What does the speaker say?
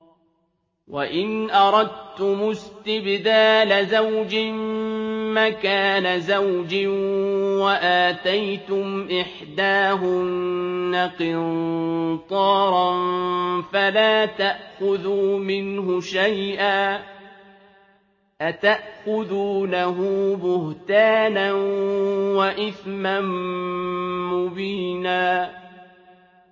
وَإِنْ أَرَدتُّمُ اسْتِبْدَالَ زَوْجٍ مَّكَانَ زَوْجٍ وَآتَيْتُمْ إِحْدَاهُنَّ قِنطَارًا فَلَا تَأْخُذُوا مِنْهُ شَيْئًا ۚ أَتَأْخُذُونَهُ بُهْتَانًا وَإِثْمًا مُّبِينًا